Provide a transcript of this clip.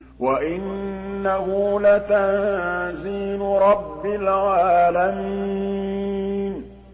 وَإِنَّهُ لَتَنزِيلُ رَبِّ الْعَالَمِينَ